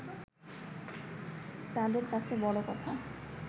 তাঁদের কাছে বড় কথা